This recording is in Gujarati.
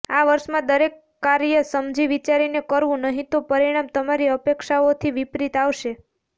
આ વર્ષમાં દરેક કાર્ય સમજી વિચારીને કરવું નહીં તો પરિણામ તમારી અપેક્ષાઓથી વિપરીત આવશે